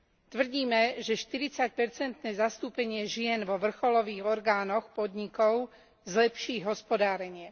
Tvrdíme, že štyridsaťpercentné zastúpenie žien vo vrcholových orgánoch podnikov zlepší ich hospodárenie.